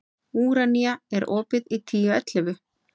Úranía, er opið í Tíu ellefu?